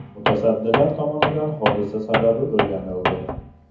Mutasaddilar tomonidan hodisa sababi o‘rganildi.